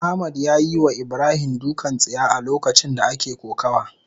Ahmad yayiwa Ibrahim dukan tsiya a lokacin da ake kokawa.